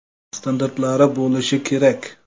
Standartlari bo‘lishi kerak.